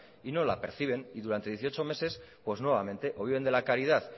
y no la perciben y durante dieciocho meses pues nuevamente o bien de la caridad